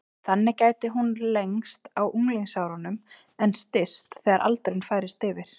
Þannig gæti hún lengst á unglingsárum en styst þegar aldurinn færist yfir.